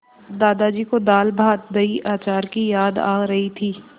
दादाजी को दालभातदहीअचार की याद आ रही थी